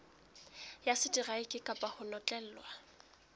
ya seteraeke kapa ho notlellwa